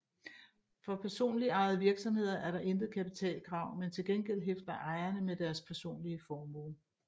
For personlig ejede virksomheder er der intet kapitalkrav men til gengæld hæfter ejerne med deres personlige formue